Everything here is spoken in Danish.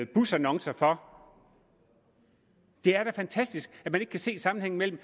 busannoncer for det er da fantastisk at man ikke kan se sammenhængen mellem